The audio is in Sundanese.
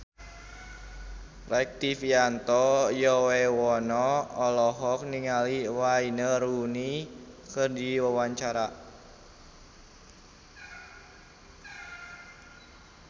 Rektivianto Yoewono olohok ningali Wayne Rooney keur diwawancara